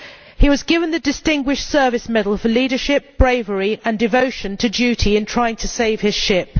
He was awarded the Distinguished Service Medal for leadership, bravery and devotion to duty in trying to save his ship.